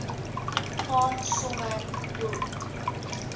gaan sommer hoe